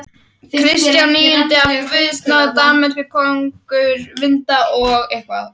Kristján níundi af guðs náð Danmerkur konungur, Vinda- og